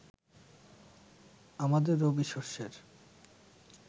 আমাদের রবিশস্যের